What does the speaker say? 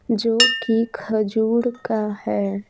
जो कि खजूर का है।